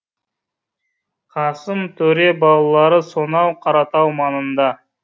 қасым төре балалары сонау қаратау маңында